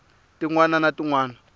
tin wana na tin wana